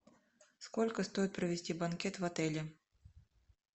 сколько стоит провести банкет в отеле